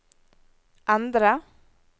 endre